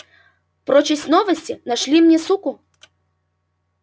прочесть новости нашли мне суку